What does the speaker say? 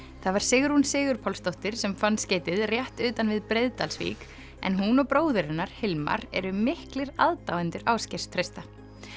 það var Sigrún Sigrún Sigurpálsdóttir sem fann skeytið rétt utan við Breiðdalsvík en hún og bróðir hennar Hilmar eru miklir aðdáendur Ásgeirs Trausta